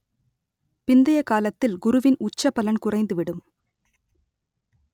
பிந்தைய காலத்தில் குருவின் உச்ச பலன் குறைந்து விடும்